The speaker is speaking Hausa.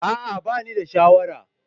A'a ba ni da sha'awar.